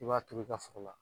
I b'a turu i ka foro la.